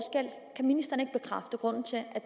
grunden til at